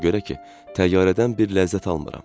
Ona görə ki, təyyarədən bir ləzzət almıram.